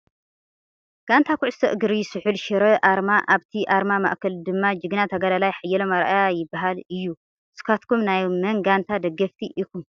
ጋንታ ኩዕሶ እግሪ ስሑል ሽረ ኣርማ ኣብቲ ኣርማ ማእከል ድማ ጅግና ተጋደላይ ሓየሎም ኣርኣያ ይባሀል እዩ ። ንስካትኩም ናይ መን ጋንታ ደገፍቲ ኢኩም ?